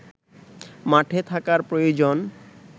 মাঠে থাকার প্রয়োজন